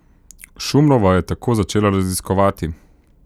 Šumrova je tako začela raziskovati.